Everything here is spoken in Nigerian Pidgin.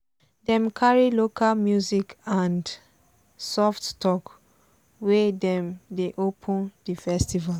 dem carry local music and and soft talk wen dem dey open di festival.